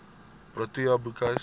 protea boekhuis